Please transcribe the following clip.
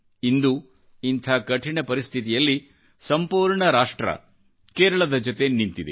ಇಂದು ಇಂಥ ಕಠಿಣ ಪರಿಸ್ಥಿತಿಯಲ್ಲಿ ಸಂಪೂರ್ಣ ರಾಷ್ಟ್ರ ಕೇರಳದ ಜೊತೆ ನಿಂತಿದೆ